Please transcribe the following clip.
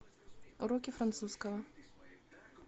уроки французского